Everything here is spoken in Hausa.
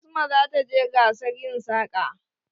Asma za ta je gasar yin saƙa.